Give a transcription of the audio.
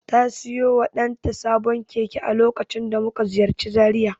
Ta siyo wa ɗanta sabon keke a lokacin da muka ziyarci Zaria.